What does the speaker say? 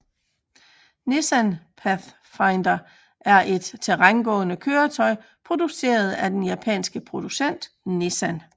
Nissan Pathfinder er et terrængående køretøj produceret af den japanske producent Nissan